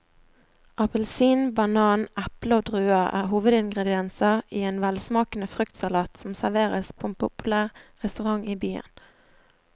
Appelsin, banan, eple og druer er hovedingredienser i en velsmakende fruktsalat som serveres på en populær restaurant i byen.